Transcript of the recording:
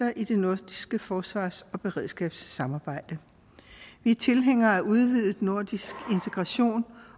i det nordiske forsvars og beredskabssamarbejde vi er tilhængere af udvidet nordisk integration